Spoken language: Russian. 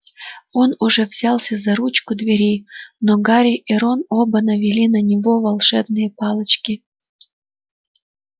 он уже взялся за ручку двери но гарри и рон оба навели на него волшебные палочки